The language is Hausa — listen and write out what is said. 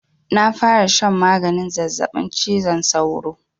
Na fara shan maganin zazzabin cizon sauro.